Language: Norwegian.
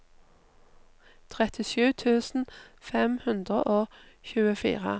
trettisju tusen fem hundre og tjuefire